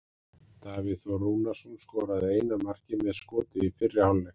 Davíð Þór Rúnarsson skoraði eina markið með skoti í fyrri hálfleik.